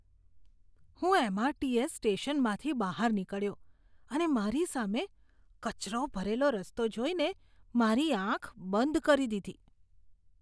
હું એમ.આર.ટી.એસ. સ્ટેશનમાંથી બહાર નીકળ્યો અને મારી સામે કચરો ભરેલો રસ્તો જોઈને મારી આંખ બંધ કરી દીધી.